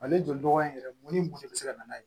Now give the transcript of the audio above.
Ale joli dɔgɔ in yɛrɛ mun ni mun de bɛ se ka na